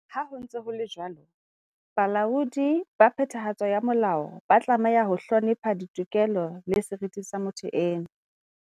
Ha ho ntse ho etswa jwalo, balaodi ba phethahatso ya molao ba tlameha ho hlonepha ditokelo le seriti sa motho eno.